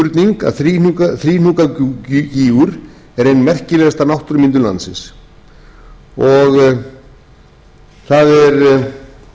engin spurning að þríhnjúkagígur er ein merkilegasta náttúrumyndun landsins það er reyndar ekki til mikið magn af